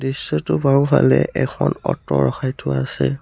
দৃশ্যটোৰ বাওঁফালে এখন অ'ট ৰখাই থোৱা আছে।